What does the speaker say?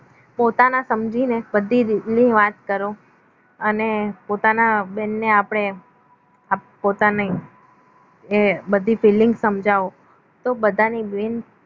પોતાના સમજીને બધી વાત કરો અને પોતાના બેનને આપણે પોતાની બધી feelings સમજાવો તો બધાને